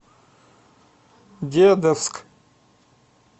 дедовск